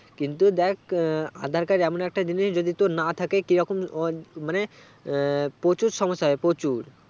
কিন্তু দেখ আহ aadhar card এমন একটা জিনিস যদি তোর না থাকে কীরকম অমানে প্রচুর সমস্যা হবে প্রচুর